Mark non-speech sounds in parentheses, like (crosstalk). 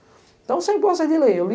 Então, sem boas, sem (unintelligible)